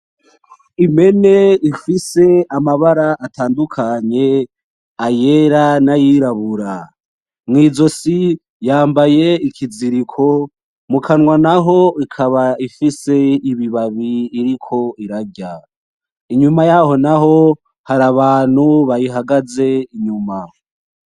Impene ifise amabara atandukanye: ayera n'ayirabura, mwizosi yambaye ikiziriko, mukanwa naho ikaba ifise ibibabi iriko irarya, inyuma yaho naho hari abantu bahagaze inyuma.